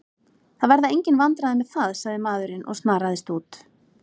Svo gæti ég farið til hennar áður en keppnin hæfist og klætt mig áhyggjulaus.